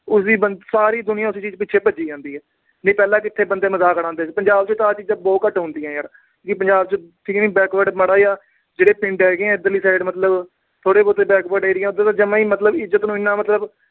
ਸਾਰੀ ਦੁਨੀਆ ਉਸੀ ਚੀਜ ਪਿੱਛੇ ਭੱਜੀ ਜਾਂਦੀ ਐ। ਨੀ ਕਿੱਥੇ ਪਹਿਲਾ ਬੰਦੇ ਮਜਾਕ ਉਡਾਉਂਦੇ ਸੀ, ਪੰਜਾਬ ਚ ਤਾਂ ਆਹ ਚੀਜਾਂ ਬਹੁਤ ਘੱਟ ਹੁੰਦੀਆਂ ਯਾਰ। ਪੰਜਾਬ ਸੀ backward ਮਾੜਾ ਜਾ। ਜਿਹੜੇ ਪਿੰਡ ਹੈਗੇ ਆ ਇਧਰਲੀ side ਮਤਲਬ। ਥੋੜੇ ਬਹੁਤ backward ਉਥੇ ਤਾਂ ਜਮਾ ਹੀ ਇੱਜਤ ਨੂੰ ਇੰਨਾ ਮਤਲਬ